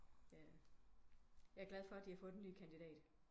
Jeg er glad for de har fundet en ny kandidat